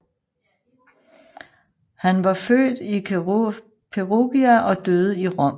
Han var født i Perugia og døde i Rom